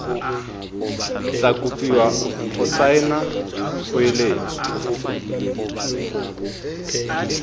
tla kopiwa go saena kgoeletso